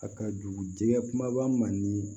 A ka dugu jɛ kumaba ma ni